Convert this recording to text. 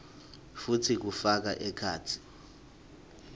futsi kufaka ekhatsi